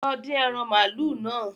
Lọ dín ẹran màálù náà